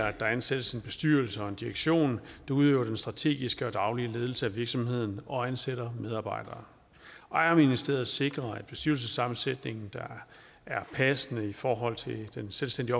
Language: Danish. at der er en selvstændig bestyrelse og en direktion der udøver den strategiske og daglige ledelse af virksomheden og ansætter medarbejdere ejerministeriet sikrer at bestyrelsessammensætningen der er passende i forhold til den selvstændige